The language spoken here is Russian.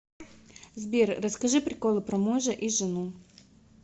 сбер расскажи приколы про мужа и жену